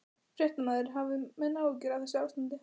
Fréttamaður: Hafa menn áhyggjur af þessu ástandi?